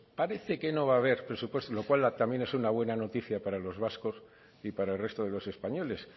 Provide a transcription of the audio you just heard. pues parece que no va a haber presupuesto lo cual también es una buena noticia para los vascos y para el resto de los españoles